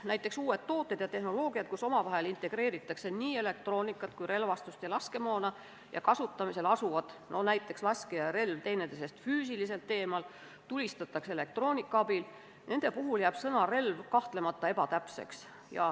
Näiteks uute toodete ja tehnoloogiate puhul, mille korral integreeritakse nii elektroonikat kui ka relvastust ja laskemoona ning mille kasutamisel asuvad laskja ja relv teineteisest füüsiliselt eemal – tulistatakse elektroonika abil –, jääb sõna "relv" kahtlemata ebatäpseks.